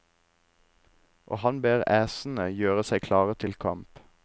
Og han ber æsene gjøre seg klare til kamp.